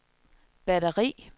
batteri